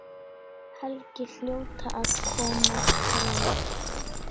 Helgi hljóta að koma bráðum.